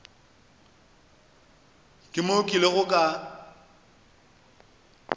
ke moo ke ilego ka